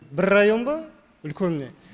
бір район ба үлкен міне